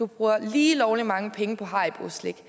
bruger lige lovlig mange penge på hariboslik